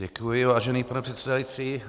Děkuji, vážený pane předsedající.